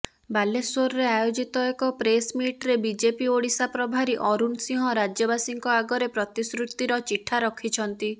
ବାଲେଶ୍ୱରରେ ଆୟୋଜିତ ଏକ ପ୍ରେସମିଟରେ ବିଜେପି ଓଡିଶା ପ୍ରଭାରୀ ଅରୁଣ ସିଂହ ରାଜ୍ୟବାସୀଙ୍କ ଆଗରେ ପ୍ରତିଶ୍ରୁତିର ଚିଠା ରଖିଛନ୍ତି